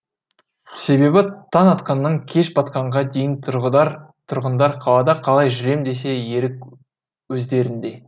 себебі таң атқаннан кеш батқанға дейін тұрғындар қалада қалай жүрем десе ерік өздерінде